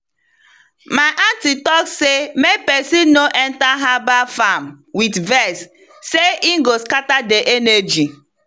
my aunty talk say make person no enter herbal farm with vex sey e go scatter the energy.